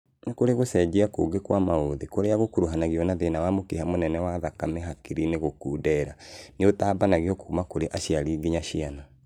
Nikuri gucenjia kungi kwa mauthi kuria gukuruhanagio na thĩna wa mũkiha mũnene wa thakame hakiri-inĩ gũkundera nĩũtambanagio kuma kũrĩ aciari nginya ciana